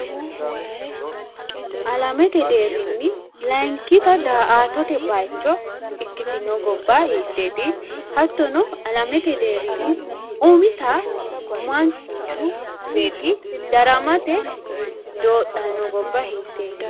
Alamete deerrinni layiinkita da"atote bayiicho ikkitino gobba hiitteneeti? Hattono, alamete deerrinni umita manchu beeetti daramate doodhanno gobba hiitteeti?